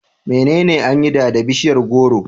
Menene an yi da da bishiyar gworo?